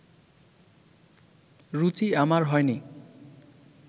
রুচি আমার হয়নি